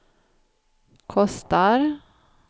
kostar